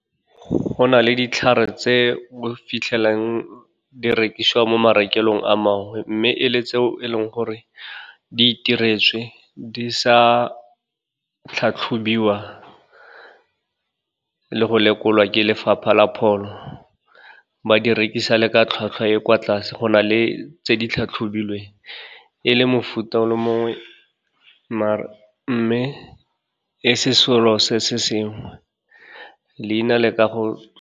Go na le ditlhare tse o fitlhelang di rekisiwa mo marekelong a mangwe, mme e le tseo e leng gore di itiretswe, di sa tlhatlhobiwa le go lekolwa ke Lefapha la Pholo, ba di rekisa le ka tlhwatlhwa e kwa tlase, go na le tse di tlhatlhobilweng, e le mofuta o le mongwe maar mme, e se selo se se sengwe, leina le ka go.